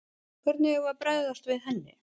Hvernig eigum við að bregðast við henni?